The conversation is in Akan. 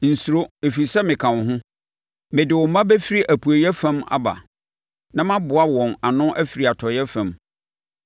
Nsuro, ɛfiri sɛ, meka mo ho; mede wo mma bɛfiri apueeɛ fam aba na maboa wɔn ano afiri atɔeɛ fam.